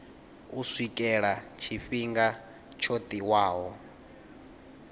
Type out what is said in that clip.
u swikela tshifhinga tsho tiwaho